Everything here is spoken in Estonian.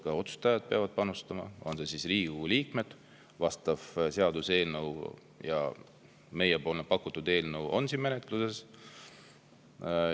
Ka otsustajad peavad panustama, Riigikogu liikmed – vastav seaduseelnõu ja meie pakutud eelnõu on menetluses.